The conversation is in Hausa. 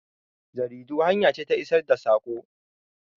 Jaridu hanya ce ta isar da sako.